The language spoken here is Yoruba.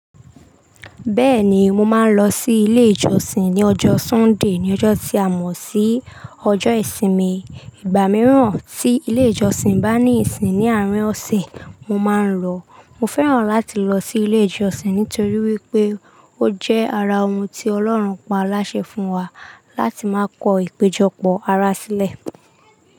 Bẹ́ẹ̀ni, mo máa ń lọ sí ilé ìjọsìn ní ọjọ́ Sunday, ní ọjọ́ tí a mọ̀ sí ọjọ́ ìsinmi. Ìgbà mìíràn tí ilé ìjọsìn bá ní ìsìn ní àárín ọ̀sìn, mo máa ń lọ. Mo fẹ́ràn láti lọ sí ilé ìjọsìn nítorí wípé ó jẹ́ ara ohun tí Ọlọ́run pa á láṣẹ fún wa láti máa kọ ìpéjọpọ̀ ara sílẹ̀.